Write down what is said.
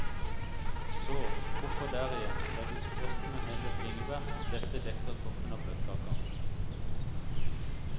Så, oppå der igjen, legges frosne hele bringebær, dette dekker toppen av bløtkaka.